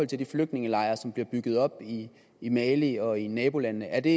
til de flygtningelejre som bliver bygget op i i mali og i nabolandene er det